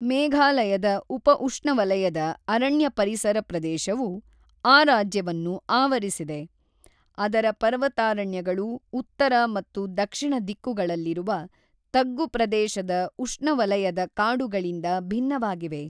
ಮೇಘಾಲಯದ ಉಪ-ಉಷ್ಣವಲಯದ ಅರಣ್ಯ ಪರಿಸರ ಪ್ರದೇಶವು ಆ ರಾಜ್ಯವನ್ನು ಆವರಿಸಿದೆ; ಅದರ ಪರ್ವತಾರಣ್ಯಗಳು ಉತ್ತರ ಮತ್ತು ದಕ್ಷಿಣ ದಿಕ್ಕುಗಳಲ್ಲಿರುವ ತಗ್ಗು ಪ್ರದೇಶದ ಉಷ್ಣವಲಯದ ಕಾಡುಗಳಿಂದ ಭಿನ್ನವಾಗಿವೆ.